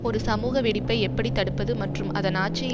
ஒரு சமூக வெடிப்பை எப்படி தடுப்பது மற்றும் அதன் ஆட்சியை